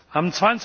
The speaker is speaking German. Am